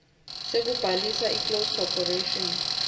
sekubhalisa iclose corporation